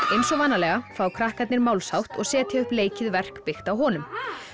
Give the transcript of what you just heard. eins og vanalega fá krakkarnir málshátt og setja upp leikið verk byggt á honum